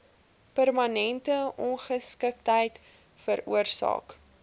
permanente ongeskiktheid veroorsaak